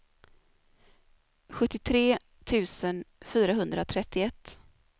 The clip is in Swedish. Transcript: sjuttiotre tusen fyrahundratrettioett